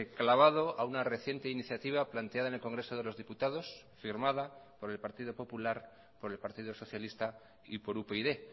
clavado a una reciente iniciativa planteada en el congreso de los diputados firmada por el partido popular por el partido socialista y por upyd